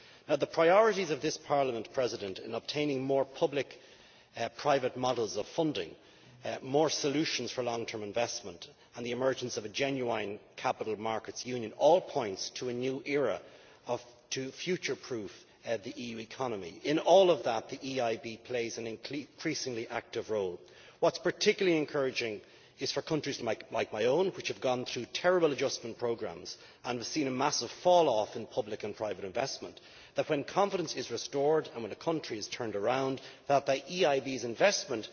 Now the priorities of this Parliament in obtaining more public private models of funding, more solutions for long term investment, and the emergence of a genuine Capital Markets Union, all point to a new era, to the future proofing of the EU economy. In all of that, the EIB plays an increasingly active role. What is particularly encouraging for countries like my own, which have gone through terrible adjustment programmes and seen a massive fall off in public and private investment, is that when confidence is restored and when a country is turned around, the EIB's investment